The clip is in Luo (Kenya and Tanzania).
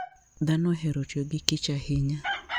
Dhano ohero tiyo gi kich ahinya.